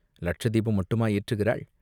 லட்ச தீபம் மட்டுமா ஏற்றுகிறாள்?